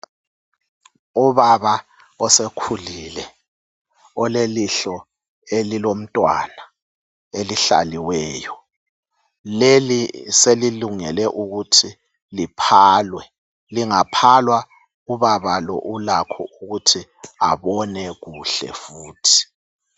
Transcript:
Ubaba osekhulile olelihlo elilomntwana elihlaliweyo. Leli selilungele ukuthi liphalwe, lingaphalwa ubaba lo ulakho ukuthi abone kuhle futhi.